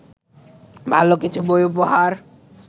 ভালো কিছু বই উপহার